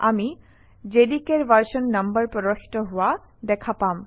আমি JDK ৰ version number প্ৰদৰ্শিত হোৱা দেখা পাম